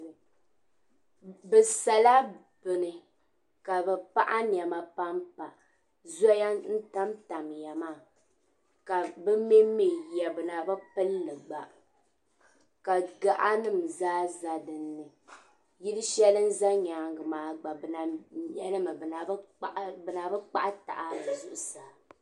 Bɛ sala bini ka bɛ paɣi nɛma pa m-pa Zoya n-tam tamya maa ka bɛ me m-me yiya bɛ na bi pili li gba ka gaɣanima zaa za dini yili shɛli n-za nyaaŋa gba bɛ na me li mi bɛ na bi kpahi taha di zuɣusaa.